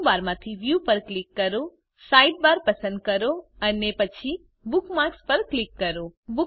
menu બારમાંથી View પર click કરોSidebar પસંદ કરો અને પછી બુકમાર્ક્સ પર ક્લિક કરો